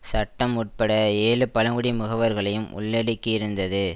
சட்டம் உட்பட ஏழு பழங்குடி முகவர்களையும் உள்ளடக்கியிருந்தது